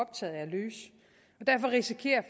derfor risikerer